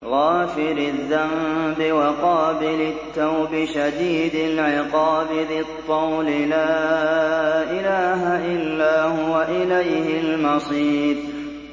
غَافِرِ الذَّنبِ وَقَابِلِ التَّوْبِ شَدِيدِ الْعِقَابِ ذِي الطَّوْلِ ۖ لَا إِلَٰهَ إِلَّا هُوَ ۖ إِلَيْهِ الْمَصِيرُ